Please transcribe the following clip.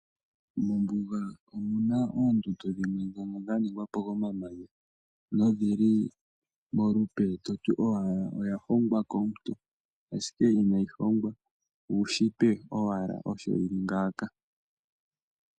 Mombuga omuna oondundu dhimwe ndhono dha ningwapo ko mamanya nodhili molupe toti owala oya hongwa komuntu, ashike inayi hongwa uushitwe owala osho yili ngaaka.